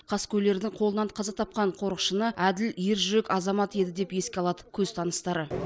қаскөйлердің қолынан қаза тапқан қорықшыны әділ ержүрек азамат еді деп еске алады көзтаныстары